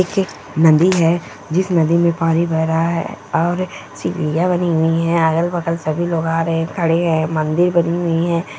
एक ऐ नदी है जिस नदी में पानी भरा है और सीडियां बनी हुई हैं अगल बगल सभी लोग आ रहे हैं खड़े हैं मन्दिर बनी हुई हैं।